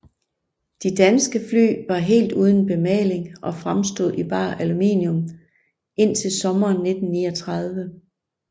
De danske fly var helt uden bemaling og fremstod i bar aluminium indtil sommeren 1939